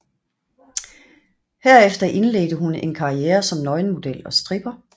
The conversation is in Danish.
Herefter indledte hun en karriere som nøgenmodel og stripper